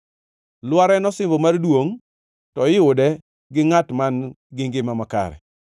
Lwar en osimbo mar duongʼ to iyude gi ngʼat man-gi ngima makare.